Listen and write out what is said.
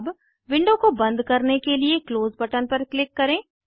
अब विंडो को बन्द करने के लिए क्लोज़ बटन पर क्लिक करें